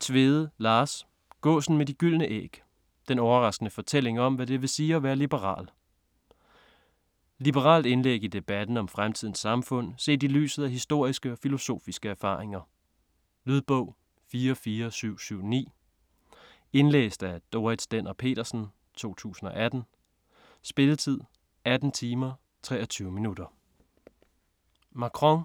Tvede, Lars: Gåsen med de gyldne æg: den overraskende fortælling om hvad det vil sige at være liberal Liberalt indlæg i debatten om fremtidens samfund set i lyset af historiske og filosofiske erfaringer. Lydbog 44779 Indlæst af Dorrit Stender-Petersen, 2018. Spilletid: 18 timer, 23 minutter.